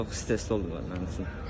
Çox stressli oldu mənim üçün.